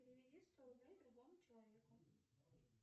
переведи сто рублей другому человеку